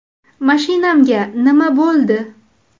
Mashinamga nima bo‘ldi?.